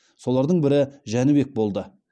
солардың бірі жәнібек болды